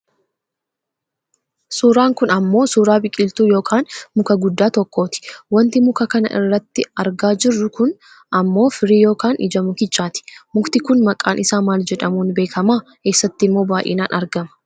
Suuraan kun ammoo suuraa biqiltuu yookaan muka guddaa tokkooti. Wanti muka kana irratti argaa jirru kun ammoo firii yookaan ija mukichaati. Mukti kun maqaan isaa maal jedhamuun beekkama? Eessattimmoo baayyinaan argama?